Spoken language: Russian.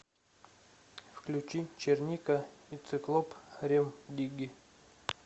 включи черника и циклоп рем дигги